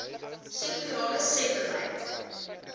sektorale sebbeleid